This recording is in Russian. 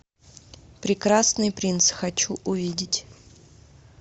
прекрасный принц хочу увидеть